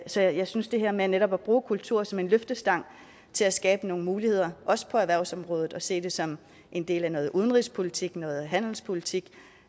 så jeg synes det her med netop at bruge kultur som en løftestang til at skabe nogle muligheder også på erhvervsområdet og se det som en del af noget udenrigspolitik noget handelspolitik